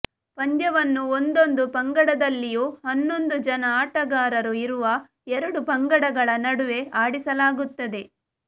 ಪಂದ್ಯವನ್ನು ಒಂದೊಂದು ಪಂಗಡದಲ್ಲಿಯೂ ಹನ್ನೊಂದು ಜನ ಆಟಗಾರರು ಇರುವ ಎರಡು ಪಂಗಡಗಳ ನಡುವೆ ಆಡಿಸಲಾಗುತ್ತದೆ